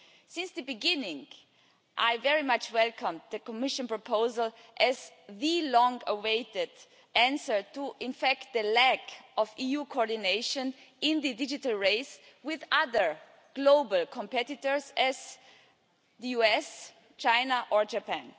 Since the beginning, I very much welcome the Commission proposal as the long awaited answer to the lack of EU coordination in the digital race with other global competitors such as the US, China and Japan.